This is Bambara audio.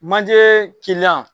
Manjee